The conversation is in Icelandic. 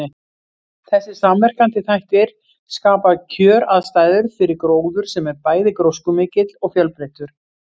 Þessir samverkandi þættir skapa kjöraðstæður fyrir gróður sem er bæði gróskumikill og fjölbreyttur.